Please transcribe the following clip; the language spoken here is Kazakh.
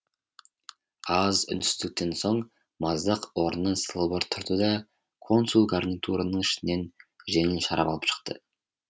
аз үнсіздіктен соң маздақ орнынан сылбыр тұрды да консул гарнитурының ішінен жеңіл шарап алып шықты